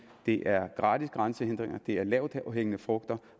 er gratis grænsehindringer at fjerne det er lavthængende frugter